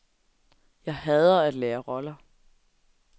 Jeg hader at lære roller.